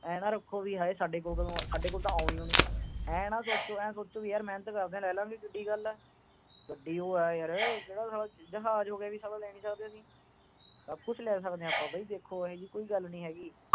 ਆਏ ਨਾ ਰੱਖੋ ਵੀ ਸਾਡੇ ਕੋਲ ਤਾਂ ਆਉਣੀ ਈ ਨੀ। ਆਏ ਨਾ ਸੋਚੋ। ਆਏ ਸੋਚੋ, ਮਿਹਨਤ ਕਰਦੇ ਆ, ਲੈ ਲਾਗੇ, ਕਿੱਡੀ ਕੁ ਗੱਲ ਆ। ਗੱਡੀ ਈ ਆ ਕਿਹੜਾ ਜਹਾਜ ਹੋ ਗਿਆ, ਲੈ ਨਹੀਂ ਸਕਦੇ। ਸਭ ਕੁਛ ਲੈ ਸਕਦੇ ਆ ਆਪਾ, ਦੇਖੋ ਬਾਈ ਜੀ, ਇਹੋ ਜੀ ਕੋਈ ਗੱਲ ਨਹੀਂ ਹੈਗੀ।